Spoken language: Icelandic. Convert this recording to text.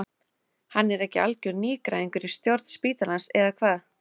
Hann er ekki algjör nýgræðingur í stjórn spítalans eða hvað?